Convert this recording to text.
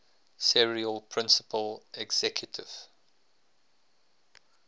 series principal executive